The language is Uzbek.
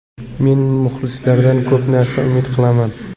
Men muxlislardan ko‘p narsa umid qilaman.